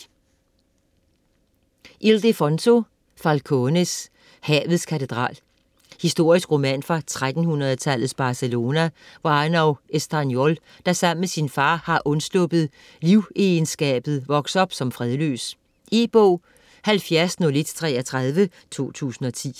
Falcones, Ildefonso: Havets katedral Historisk roman fra 1300-tallets Barcelona, hvor Arnau Estanyol, der sammen med sin far har undsluppet livegenskabet, vokser op som fredløs. E-bog 710133 2010.